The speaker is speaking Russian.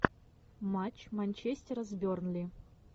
матч манчестер с бернли